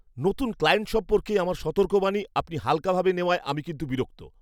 নতুন ক্লায়েন্ট সম্পর্কে আমার সতর্কবাণী আপনি হালকাভাবে নেওয়ায় আমি কিন্তু বিরক্ত।